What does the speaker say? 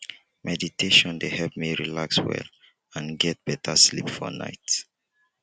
meditation dey help me relax well and get beta sleep for night.